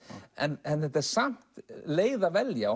en þetta er samt leið að velja